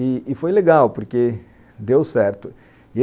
E, e foi legal, porque deu certo.